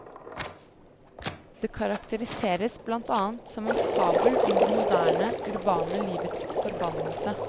Det karakteriseres blant annet som en fabel om det moderne, urbane livets forbannelse.